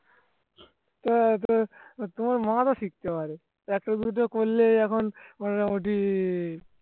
তোমার মামাতো শিখতে পারে একটার বিরুদ্ধে করলে এখন মোটামোটি